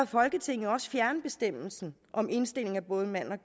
folketinget også fjerne bestemmelsen om indstilling af både en mand og